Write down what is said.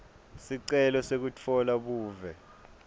sicelo sekutfola buve